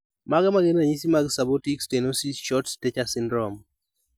Mage magin ranyisi mag Subaortic stenosis short stature syndrome